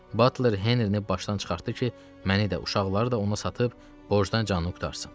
Batler Henrini başdan çıxartdı ki, məni də, uşaqları da ona satıb borcdan canını qurtarsın.